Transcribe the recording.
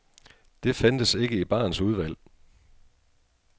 Det fandtes ikke i barens udvalg.